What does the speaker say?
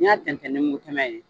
N'i y'a tɛntɛn ni mugu tɛmɛ ye